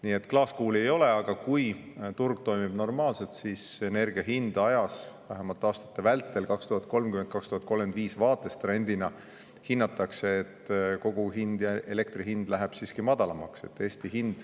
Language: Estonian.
Nii et klaaskuuli ei ole, aga kui turg toimib normaalselt, siis trendina hinnatakse, et energia hind ajas, vähemalt aastate 2030–2035 vältel, kogu hind ja elektri hind läheb siiski madalamaks.